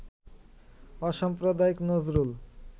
অসাম্প্রদায়িক নজরুল